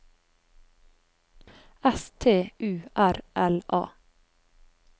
S T U R L A